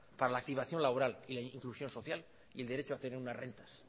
para la activación laboral e inclusión social y el derecho a tener unas rentas